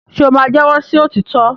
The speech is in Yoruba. ṣe o ma jẹwọ sí òtítọ?